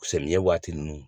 Samiyɛ waati ninnu